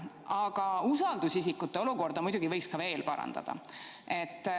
Aga usaldusisikute olukorda võiks muidugi veel parandada.